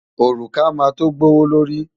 Òrùka máa tó gbówó lórí.